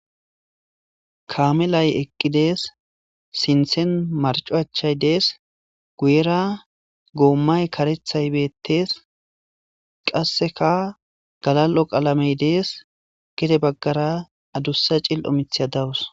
Kaamelay eqqi de7ees;sinththen marcco achchay de7ees;guyeera goomay kareththay beeththes; qassikka galal7o qalamee de7ees; gede baggara adussa cil7o miththiya dawus.